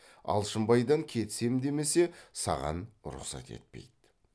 алшынбайдан кетісем демесе саған рұқсат етпейді